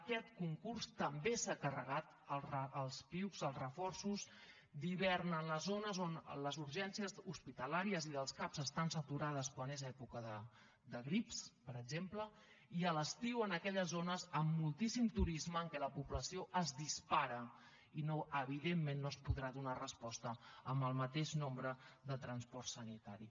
aquest concurs també s’ha carregat els piuc els reforços d’hivern a les zones on les urgències hospitalàries i dels cap estan saturades quan és època de grips per exemple i a l’estiu en aquelles zones amb moltíssim turisme en què la població es dispara i que evidentment no s’hi podrà donar resposta amb el mateix nombre de transport sanitari